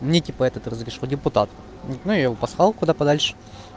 мне типа этот разрешил депутат ну я его послал куда подальше